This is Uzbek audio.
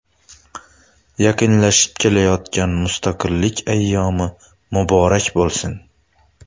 Yaqinlashib kelayotgan Mustaqillik ayyomi muborak bo‘lsin!